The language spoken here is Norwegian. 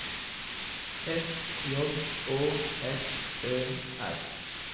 S J Å F Ø R